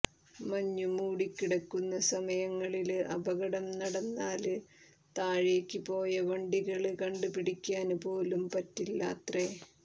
മഞ്ഞു മൂടിക്കിടക്കുന്ന സമയങ്ങളില് അപകടം നടന്നാല് താഴേക്ക് പോയ വണ്ടികള് കണ്ടുപിടിക്കാന് പോലും പറ്റില്ലാത്രേ